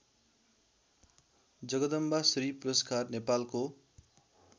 जगदम्बाश्री पुरस्कार नेपालको